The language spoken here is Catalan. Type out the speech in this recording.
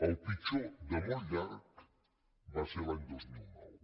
el pitjor de molt llarg va ser l’any dos mil nou